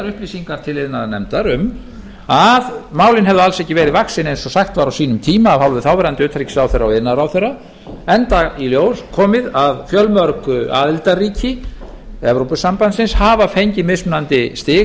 upplýsingar til iðnaðarnefndar um að málin hefðu alls ekki verið vaxin eins og sagt var á sínum tíma af hálfu þáverandi utanríkisráðherra og iðnaðarráðherra enda í ljós komið að fjölmörg aðildarríki evrópusambandsins hafa fengið mismunandi stig